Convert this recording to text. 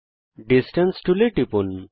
distance টুলে টিপুন